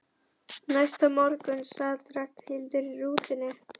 Næsta morgun sat Ragnhildur í rútunni.